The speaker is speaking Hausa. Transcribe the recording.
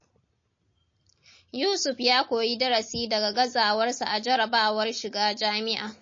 Yusuf ya koyi darasi daga gazawarsa a jarrabawar shiga jami’a.